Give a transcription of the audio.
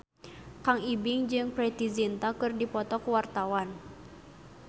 Kang Ibing jeung Preity Zinta keur dipoto ku wartawan